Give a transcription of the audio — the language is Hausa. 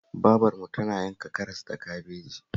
Babarmu tana yanka karas da kabeji